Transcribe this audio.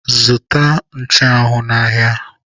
Zụta nchụanwụ n'ahịa!